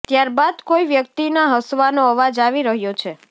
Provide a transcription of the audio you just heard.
ત્યાર બાદ કોઈ વ્યક્તિના હસવાનો અવાજ આવી રહ્યો છે